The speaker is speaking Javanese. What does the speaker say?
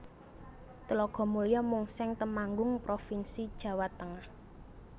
Tlogomulyo Mungseng Temanggung provinsi Jawa Tengah